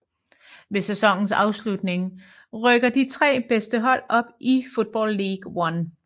Ved sæsonens afslutning rykker de tre bedste hold op i Football League One